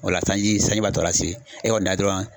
O la sanji sanji b'a tɔ lase e kɔni dan ye dɔrɔn